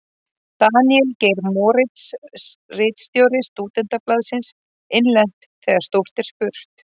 Daníel Geir Moritz, ritstjóri Stúdentablaðsins: Innlent: Þegar stórt er spurt.